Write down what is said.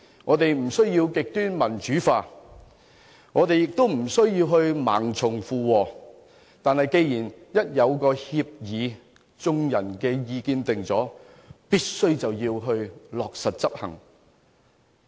我們不需要極端民主化，亦不需要盲從附和。但是，一旦達成協議，按眾人的意見作出了決定後，就必須落實執行。